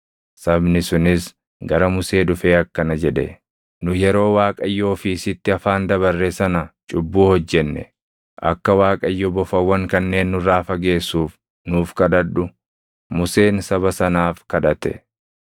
Sabni sunis gara Musee dhufee akkana jedhe; “Nu yeroo Waaqayyoo fi sitti afaan dabarre sana cubbuu hojjenne. Akka Waaqayyo bofawwan kanneen nurraa fageessuuf nuuf kadhadhu.” Museen saba sanaaf kadhate.